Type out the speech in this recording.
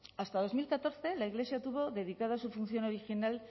hasta dos mil catorce la iglesia tuvo dedicada su función original